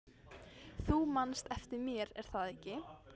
Þú manst eftir mér, er það ekki?